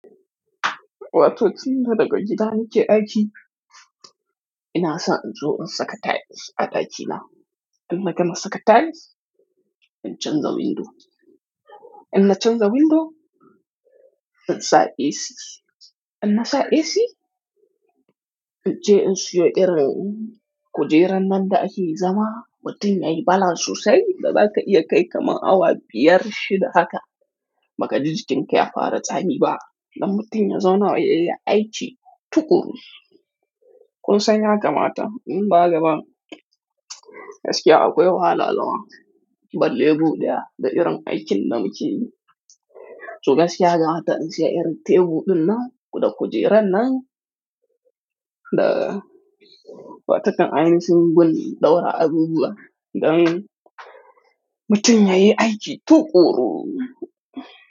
Wato tinda daga gida nake aiki. Ina son in zo in saka tiles a ɗakina. Inna gama saka tiles, in canza window. Inna canza window, in sa AC. Inna sa AC, in je in siyo irin kujeran nan da ake zama mutum yayi balance sosai da zaka iya kai kamar awa biyar, shida haka ba ka ji jikin ka ya fara tsami ba. Don mutum ya zauna yayi aiki tuƙuru. Kun san yakamata in ba haka ba gaskiya akwai wahala zama. Balle buɗewa da irin aikin da muke yi. To gaskiya yakamata in siya irin tebur ɗin nan da kujeran nan da watan ainihin gun daura abubuwa don mutum yayi aiki tuƙuru.